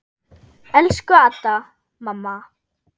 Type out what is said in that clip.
Elsku Adda, mamma.